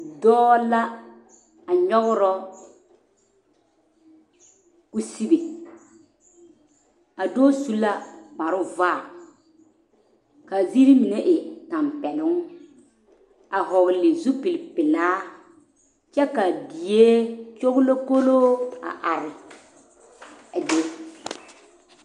Dɔɔ la a nyɔgra kusibe a dɔɔ su la kparvaa k,a ziiri mine e tɛmpɛloŋ a hɔgle zupilpelaa kyɛ ka die kyoglikolo a are a be.